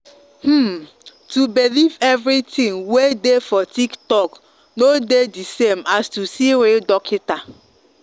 hmm to believe every tin way dey for tiktok no dey the same as to see real dockita.